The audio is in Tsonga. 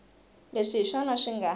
leswi hi swona swi nga